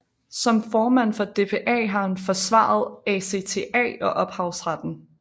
Som formand for DPA har han forsvaret ACTA og ophavsretten